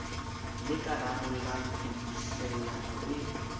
le ka rarollang tshubuhlellano e